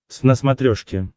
твз на смотрешке